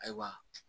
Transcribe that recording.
Ayiwa